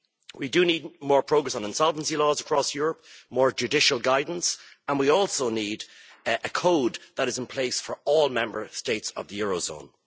We do need more progress on insolvency laws across Europe, more judicial guidance, and we also need a code that is in place for all Member States of the eurozone.